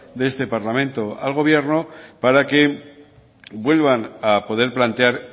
de este parlamento al gobierno para que vuelvan a poder plantear